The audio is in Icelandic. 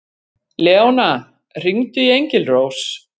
Leóna, hringdu í Engilrós.